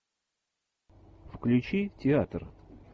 включи театр